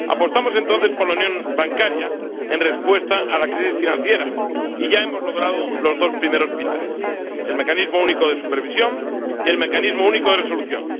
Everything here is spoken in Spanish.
Apostamos entonces por la unión bancaria en respuesta a la crisis financiera y ya hemos logrado los dos primeros pilares el Mecanismo Único de Supervisión y el Mecanismo Único de Resolución.